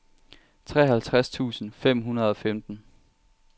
treoghalvtreds tusind fem hundrede og femten